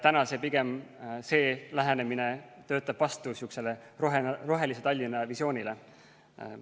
See lähenemine töötab pigem vastu rohelise Tallinna visioonile.